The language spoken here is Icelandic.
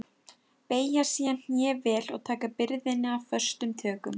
Beygja síðan hné vel og taka byrðina föstum tökum.